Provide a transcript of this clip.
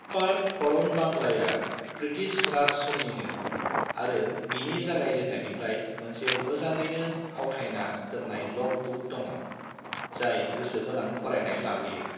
Park अरन बांग्लाया British Raj समनिनो आरो बिनि जागाय जेननायनिफ्राय मोनसे मोजाङैनो आवथायना दोननाय ल'ग बुक दङ', जाय गोसो गोनां फरायनाइ लाबोयो।